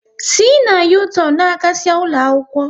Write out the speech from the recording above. Si na u-turn n'agasia ụlọakwụkwọ